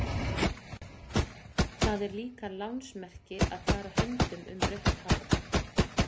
Það er líka lánsmerki að fara höndum um rautt hár.